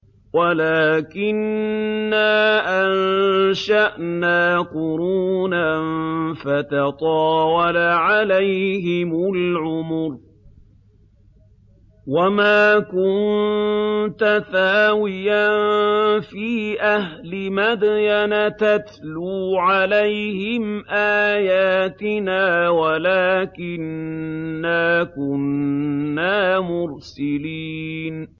وَلَٰكِنَّا أَنشَأْنَا قُرُونًا فَتَطَاوَلَ عَلَيْهِمُ الْعُمُرُ ۚ وَمَا كُنتَ ثَاوِيًا فِي أَهْلِ مَدْيَنَ تَتْلُو عَلَيْهِمْ آيَاتِنَا وَلَٰكِنَّا كُنَّا مُرْسِلِينَ